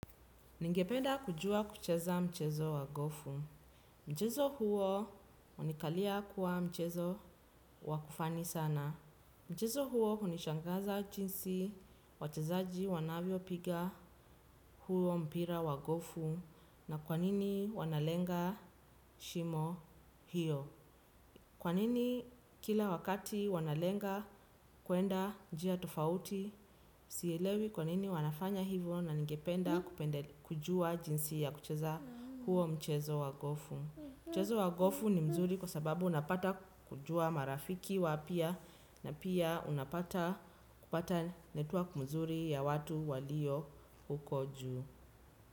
Ningependa kujua kucheza mchezo wa gofu. Mchezo huo hunikalia kuwa mchezo wa kufani sana. Mchezo huo hunishangaza jinsi wachezaji wanavyopiga huo mpira wa gofu na kwa nini wanalenga shimo hiyo. Kwa nini kila wakati wanalenga kwenda njia tofauti, sielewi kwa nini wanafanya hivyo na ningependa kujua jinsi ya kucheza huo mchezo wa gofu. Mchezo wa gofu ni mzuri kwa sababu unapata kujua marafiki wapya na pia unapata kupata network mzuri ya watu walio huko juu.